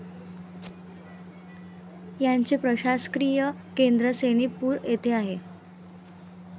याचे प्रशासकीय केंद्र सोनीतपूर येथे आहे.